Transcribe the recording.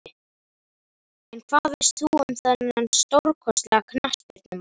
En hvað veist þú um þennan stórkostlega knattspyrnumann?